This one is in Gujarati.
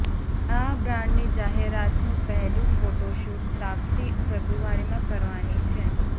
આ બ્રાન્ડની જાહેરાતનું પહેલુ ફોટોશૂટ તાપસી ફેબ્રુઆરીમાં કરવાની છે